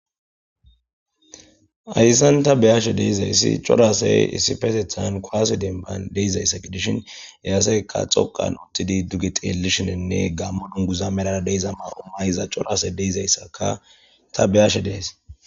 Hayssan ta beyaashe deizayssi corasey issi pasethan koase denban deizayssa gidishin eyaseyka xoqan uttidi duge xeellishinenne gammo dunguza merara deiza maa'o mayza corase deizayssaka ta beyashe dees.